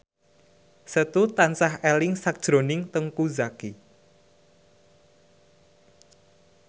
Setu tansah eling sakjroning Teuku Zacky